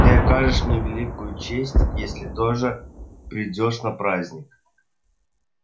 ты окажешь мне великую честь если тоже придёшь на праздник